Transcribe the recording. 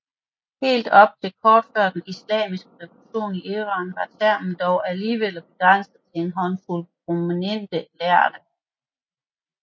Helt op til kort før den islamiske revolution i Iran var termen dog alligevel begrænset til en håndfuld prominente lærde